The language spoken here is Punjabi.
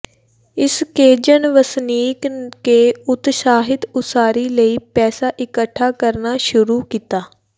ਇਸ ਕੇਜ਼ਨ ਵਸਨੀਕ ਕੇ ਉਤਸ਼ਾਹਿਤ ਉਸਾਰੀ ਲਈ ਪੈਸਾ ਇਕੱਠਾ ਕਰਨਾ ਸ਼ੁਰੂ ਕੀਤਾ